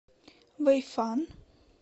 вэйфан